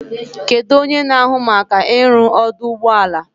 Kedu onye na-ahụ maka ịrụ ọdụ ụgbọ ala?